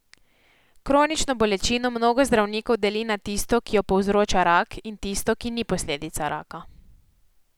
Kronično bolečino mnogo zdravnikov deli na tisto, ki jo povzroča rak, in tisto, ki ni posledica raka.